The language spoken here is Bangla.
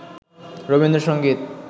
রবীন্দ্র সংগীত